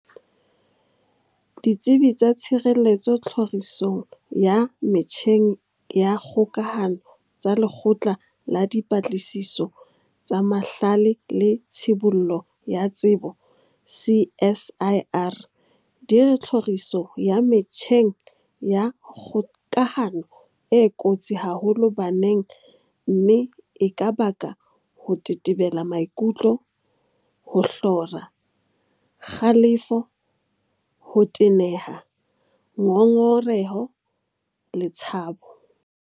Ditsebi tsa tshireletso tlhori song ya metjheng ya kgoka hano tsa Lekgotla la Dipatlisiso tsa Mahlale le Tshibollo ya Tsebo CSIR di re tlhoriso ya metjheng ya kgokahano e kotsi haholo baneng mme e ka baka ho tetebela maikutlo, ho hlora, kgalefo, ho teneha, ngongereho le tshabo.